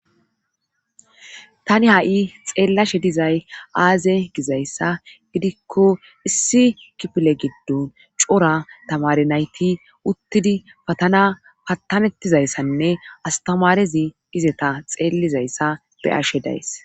Tani ha'i xellashe dizay aze gidaysa gidiko issi kifile giddon cora tamare nayti utidi Hagan akametizaysane astamarezi izeta xellizaysa be'ashe days